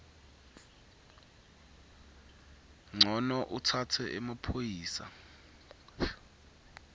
ncono utsatse emaphoyisa